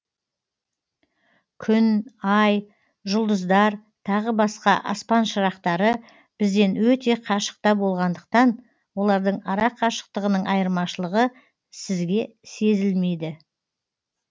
күн ай жұлдыздар тағы басқа аспан шырақтары бізден өте қашықта болғандықтан олардың ара қашықтығының айырмашылығы сізге сезілмейді